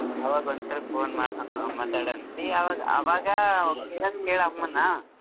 ಅವಾಗ ಒಂದ್ ಸ್ವಲ್ಪ ಮಾ~ ಮಾತಾಡಂತ್ತಿ ಅವಾಗ್ ಅವಾಗ ಕೇಳೋದ್ ಕೆಳ್ ಅಮ್ಮನ.